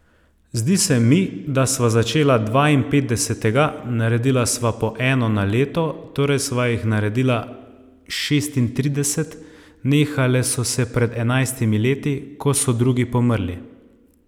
Zdi se mi, da sva začela dvainpetdesetega, naredila sva po eno na leto, torej sva jih naredila šestintrideset, nehale so se pred enajstimi leti, ko so drugi pomrli ...